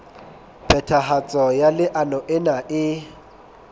phethahatso ya leano lena e